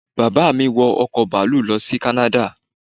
Bàbá mi wọ ọkọ̀ bàálù lọ sí kánáda